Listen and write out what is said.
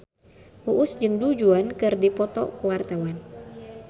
Uus jeung Du Juan keur dipoto ku wartawan